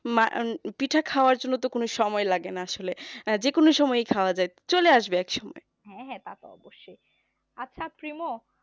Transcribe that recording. পিঠা খাওয়ার জন্য তো কোন সময় লাগে না আসলে যে কোন সময়েই খাওয়া যায় চলে আসবে এক সময়